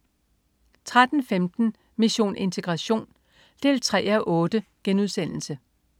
13.15 Mission integration 3:8*